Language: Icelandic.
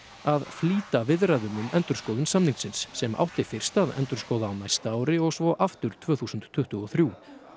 að flýta viðræðum um endurskoðun samningsins sem átti fyrst að endurskoða á næsta ári og svo aftur tvö þúsund tuttugu og þrjú